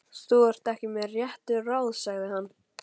Þú ert ekki með réttu ráði, sagði hann.